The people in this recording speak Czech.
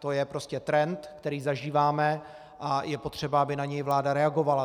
To je prostě trend, který zažíváme, a je potřeba, aby na něj vláda reagovala.